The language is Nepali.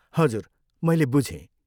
हजुर, मैले बुझेँ।